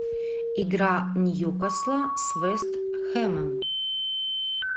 игра ньюкасла с вест хэмом